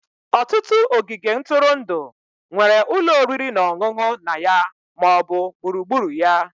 Ọtụtụ ogige ntụrụndụ nwere ụlọ oriri na ọṅụṅụ na ya ma ọ bụ gburugburu ya.